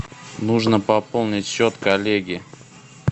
нужно пополнить счет коллеги